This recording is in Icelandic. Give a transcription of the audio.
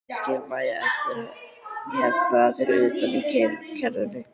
Ég skil Maju eftir hérna fyrir utan í kerrunni.